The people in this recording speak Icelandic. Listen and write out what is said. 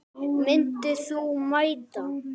Myndir þú mæta?